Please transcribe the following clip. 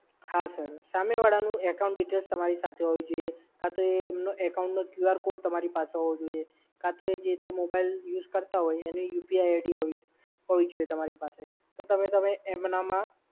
હા સર, સામે વાળાની બધી details તમારી પાસે હોવી જોઈએ. કાં તો account નો QR કોડ તમારી પાસે હોવો જોઈએ, કાં તો જે તે mobile use કરતાં હોય એની UPI-ID હોવું જોઈએ તમારી પાસે. તો તમે એન્ડમાં